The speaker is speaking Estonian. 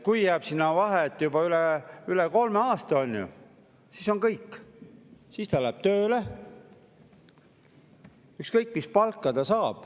Kui vahe jääb juba üle kolme aasta, siis on kõik, siis ta läheb tööle, ükskõik mis palka ta saab.